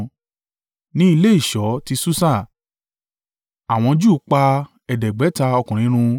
Ní ilé ìṣọ́ ti Susa, àwọn Júù pa ẹ̀ẹ́dẹ́gbẹ̀ta (500) ọkùnrin run.